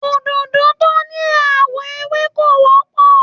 Òdòdó tó ní àwọ̀ ewé ò wọ́pọ̀.